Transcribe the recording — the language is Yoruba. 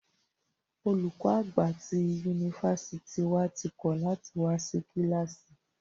Olùkọ àgbà tí yunifásítì wà tí kọ̀ lati wá sí kílàsì.